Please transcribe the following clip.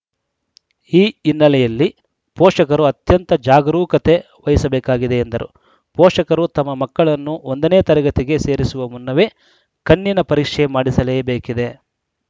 ಈ ಹಿನ್ನೆಲೆಯಲ್ಲಿ ಪೋಷಕರು ಅತ್ಯಂತ ಜಾಗರೂಕತೆ ವಹಿಸಬೇಕಾಗಿದೆ ಎಂದರು ಪೋಷಕರು ತಮ್ಮ ಮಕ್ಕಳನ್ನು ಒಂದ ನೇ ತರಗತಿಗೆ ಸೇರಿಸುವ ಮುನ್ನವೇ ಕಣ್ಣಿನ ಪರೀಕ್ಷೆ ಮಾಡಿಸಲೇಬೇಕಿದೆ